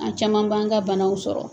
An caman b'an ka banaw sɔrɔ